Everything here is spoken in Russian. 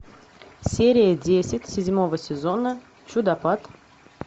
серия десять седьмого сезона чудопад